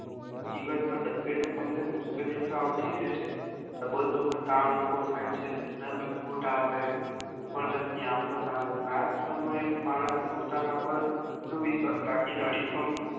જીવન માં ડગલે ને પગલે મુશ્કેલીયો તો આવતીજ રેય છે તો બધું માં થાય છે ધંધા માં ખોટ આવે કોઈ પણ જાત ની આફત આવે આજ સમયે માણસ પોતા ના પર આત્મવિશ્વાસરાખી ને અડીખમ